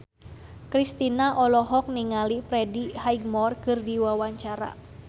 Kristina olohok ningali Freddie Highmore keur diwawancara